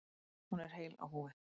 Hún er heil á húfi.